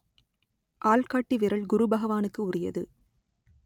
ஆள் காட்டி விரல் குரு பகவானுக்கு உரியது